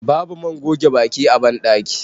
babu man goge baki a bandaki